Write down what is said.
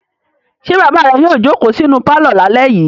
Ṣé bàbá rẹ yóò jókòó sínú pálọ̀ lálẹ́ yìí?